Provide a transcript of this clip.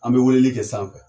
An bɛ weleli kɛ sanfɛ.